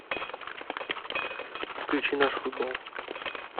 включи наш футбол